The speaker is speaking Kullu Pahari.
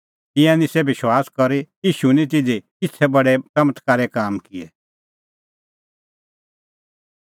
तिंयां निस्सै विश्वास करी और ईशू निं तिधी किछ़ै बडै च़मत्कारे काम किऐ